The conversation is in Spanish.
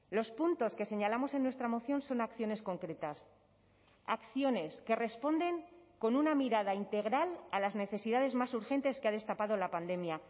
los puntos que señalamos en nuestra moción son acciones concretas acciones que responden con una mirada integral a las necesidades más urgentes que ha destapado la pandemia